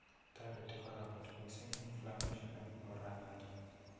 Toreti kora kot missing Inflammation en oranoton.